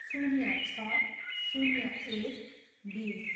शून्य छ, शून्य एक, बिस